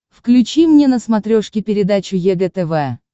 включи мне на смотрешке передачу егэ тв